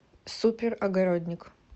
супер огородник